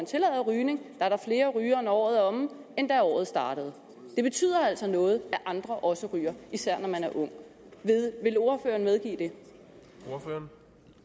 tillader rygning er der flere rygere når året er omme end da året startede det betyder altså noget at andre også ryger især når man er ung vil ordføreren medgive ordføreren